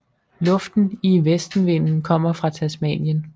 Luften i vestenvinden kommer fra Tasmanien